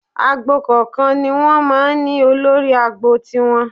Agbo kọ̀ọ̀kan ni wọ́n máa ń ní olórí agbo tiwọn